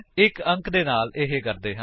ਇੱਕ ਅੰਕ ਦੇ ਨਾਲ ਇਹ ਕਰਦੇ ਹਾਂ